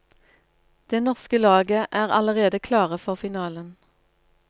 Det norske laget er allerede klare for finalen.